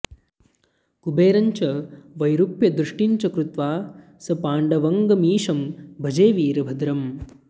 कुबेरं च वैरूप्यदृष्टिं च कृत्वा सपाण्ड्वङ्गमीशं भजे वीरभद्रम्